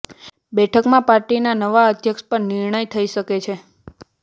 બેઠકમાં પાર્ટીના નવા અધ્યક્ષ પર નિર્ણય થઈ શકે છે